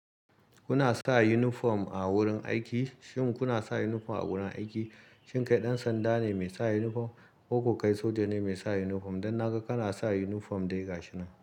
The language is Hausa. Kuna sa uniform a wurin aiki? Shin kuna sa uniform a wurin aiki? Shin kai ɗan sanda ne mai sa uniform? Ko ko kai soja ne mai sa uniform? Dan naga kana sa uniform dai ga shi nan.